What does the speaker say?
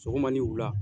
Sɔgɔma ni wula